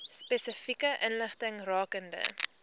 spesifieke inligting rakende